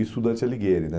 Isso o Dante Alighieri, né?